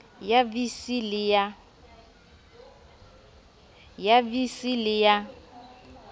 ya vii c le ya